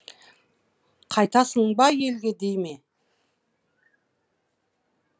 қайтасың ба елге дей ме